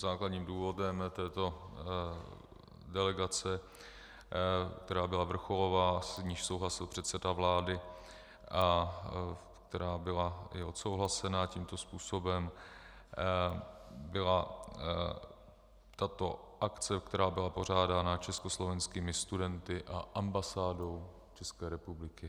Základním důvodem této delegace, která byla vrcholová, s níž souhlasil předseda vlády a která byla i odsouhlasena tímto způsobem, byla tato akce, která byla pořádána československými studenty a ambasádou České republiky.